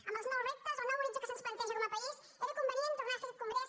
amb els nous reptes el nou horitzó que se’ns planteja com a país era convenient tornar a fer aquest congrés